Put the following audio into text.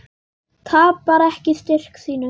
Tapar ekki styrk sínum.